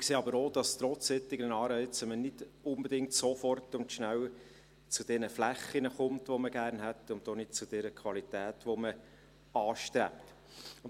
Wir sehen aber auch, dass man trotz solcher Anreize nicht unbedingt sofort und schnell zu diesen Flächen kommt, die man gerne hätte, und damit zu dieser Qualität, die man anstrebt.